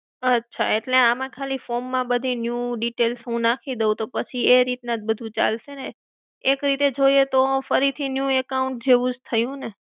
અચ્છા. એટલે આમ ખાલી form માં બધી new details હું નાખી દઉં તો પસી એ રીતના જ બધું ચાલશે ને? એક રીતે જોઈએ તો ફરી થી new account જેવું જ થયું ને?